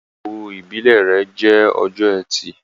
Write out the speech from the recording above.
Ìgbéyàwó ìbílè rẹ jẹ Ọjọ́ Ẹti